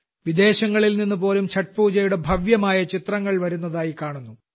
വിദേശങ്ങളിൽ നിന്നുപോലും ഛഠ് പൂജകളുടെ ഭാവ്യമായ ചിത്രങ്ങൾ വരുന്നതായി കാണാം